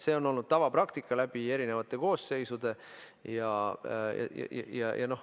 See on olnud tavapraktika läbi erinevate koosseisude.